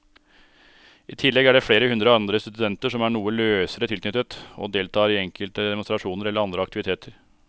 I tillegg er det flere hundre andre studenter som er noe løsere tilknyttet og deltar i enkelte demonstrasjoner eller andre aktiviteter.